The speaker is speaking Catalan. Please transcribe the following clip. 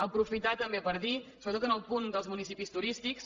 aprofitar també per dir sobretot en el punt dels municipis turístics